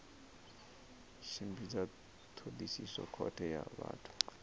tshimbidza thodisiso khothe ya vhathu